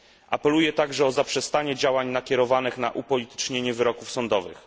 Apeluję także o zaprzestanie działań nakierowanych na upolitycznienie wyroków sądowych.